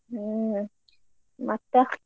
ಹ್ಮ್ ಮತ್ತ?